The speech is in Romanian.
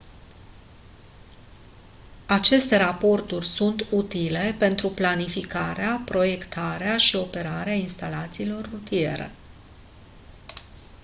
aceste raporturi sunt utile pentru planificarea proiectarea și operarea instalațiilor rutiere